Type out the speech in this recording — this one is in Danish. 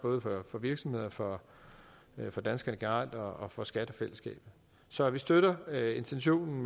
for virksomhederne for for danskerne generelt og for skattefællesskabet så vi støtter intentionen